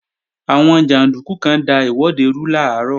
Àwọn jàndúkú kan da ìwọ́de rú làárọ̀